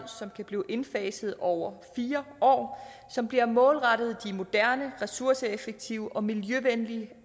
som kan blive indfaset over fire år og som bliver målrettet de moderne ressourceeffektive og miljøvenlige